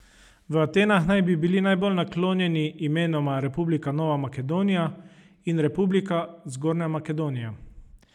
V Atenah naj bi bili najbolj naklonjeni imenoma Republika Nova Makedonija in Republika Zgornja Makedonija.